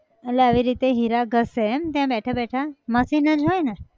એટલે આવી રીતે હીરા ઘસે એમ! ત્યાં બેઠા બેઠા machine જ હોય ને